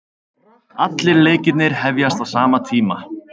Allir leikirnir hefjast á sama tíma